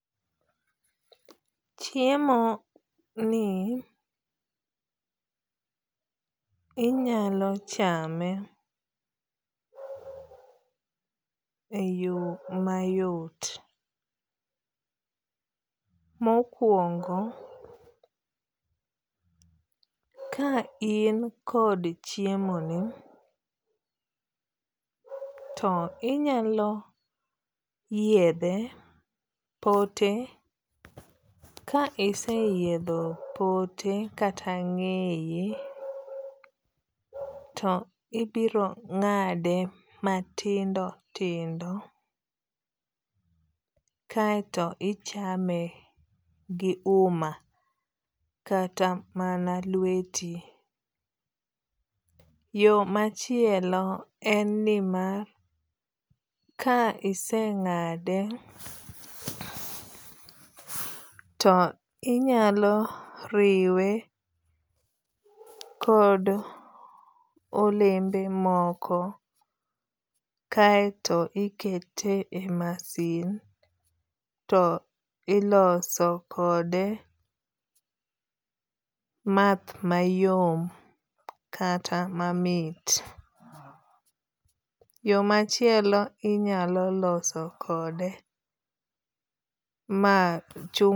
Chiemo ni inyalo chame e yo mayot. Mokuongo, ka in kod chiemo ni to inyalo yiedhe pote ka ise yiedho pote kata ng'eye to ibiro ng'ade matindo tindo kaeto ichame gi uma kata mana lweti. Yo machielo en ni mar ka iseng'ade to inyalo riwe kod olembe moko kaeto ikete e masin to iloso kode math mayom kata mamit. Yo machielo inyalo loso kode math.